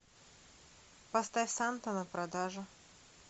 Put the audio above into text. поставь санта на продажу